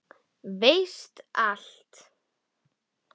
Veist allt.